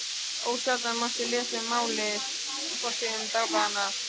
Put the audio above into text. Ósjaldan mátti lesa um málið á forsíðum dagblaðanna.